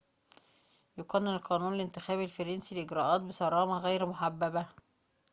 يقنن القانون الانتخابي الفرنسي الإجراءات بصرامة غير محببة